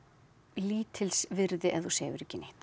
lítilsvirði ef þú sefur ekki neitt